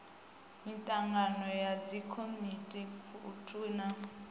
mitangano ya dzikomiti thukhu na